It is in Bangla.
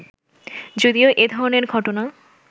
যদিও এ ধরনের ঘটনা